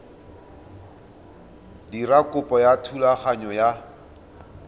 dira kopo ya thulaganyo ya